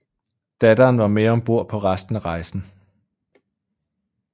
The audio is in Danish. Datteren var med ombord på resten af rejsen